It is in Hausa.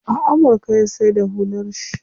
A amurka ya saida hular shi.